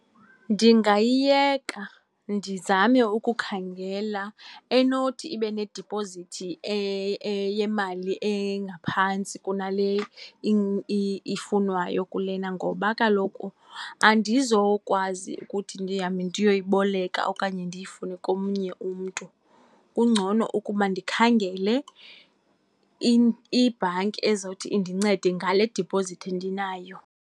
Ndingayiyeka ndizame ukukhangela enothi ibe nedipozithi yemali engaphantsi kunale ifunwayo kulena, ngoba kaloku andizokwazi ukuthi ndihambe ndiyoyiboleka okanye ndiyifune komnye umntu. Kungcono ukuba ndikhangele ibhanki ezothi indincede ngale dipozithi ndinayo.